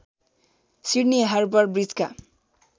Sydney Harbour ब्रिजका